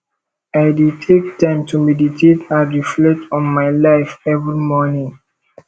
i dey take time to meditate and reflect on my life every morning